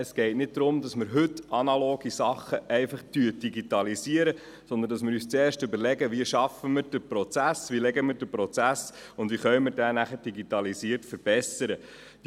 Es geht nicht darum, dass wir heute analoge Dinge einfach digitalisieren, sondern dass wir zuerst überlegen, wie wir den Prozess festlegen, und danach, wie wir diesen digitalisiert verbessern können.